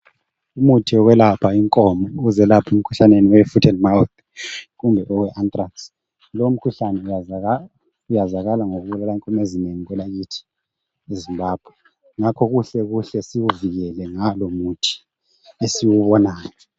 umuthi wokwelapha inkomo ukuzelapha emkhuhlaneni we foot and mouth kumbe owe antrax lowu umkhuhlane wazakazala ngokuqhubula inkomo ezinengi kwelakithi e Zimbabwe ngakho kuhle siwuvikele ngalo muthi esiwubonayo